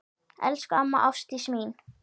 Elsku amma Ásdís mín.